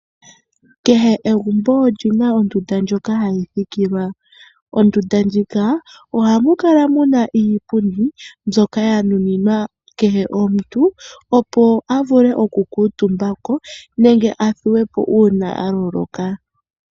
Kehe egumbo olyina ondunda ndjoka hayi thikilwa. Ondunda ndjika ohamu kala muna iipundi mbyoka ya nuninwa kehe omuntu opo a vule oku kuutumba ko nenge a thuwe po uuna a loloka.